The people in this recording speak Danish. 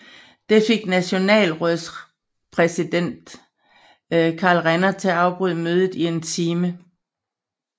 Det fik Nationalrådspræsident Karl Renner til at afbryde mødet i en time